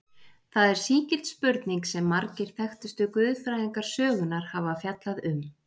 Það er sígild spurning sem margir þekktustu guðfræðingar sögunnar hafa fjallað um.